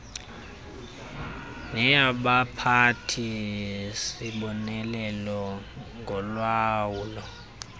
neyabaphathi sibonelelo ngolawulo